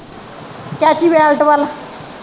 ਚਾਚੀ ਬੇਅੰਤ ਵੱਲ